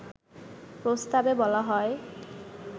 প্রস্তাবে বলা হয়